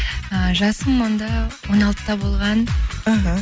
ііі жасым онда он алтыда болған іхі